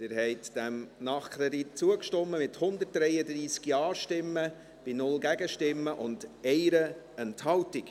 Sie haben diesem Nachkredit zugestimmt, mit 133 Ja- gegen 0 Nein-Stimmen bei 1 Enthaltung.